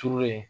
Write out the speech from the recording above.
Turulen